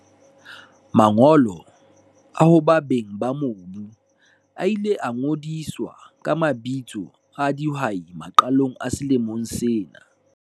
Mangolo a hoba beng ba mobu a ile a ngodiswa ka mabitso a dihwai maqalong a selemo sena.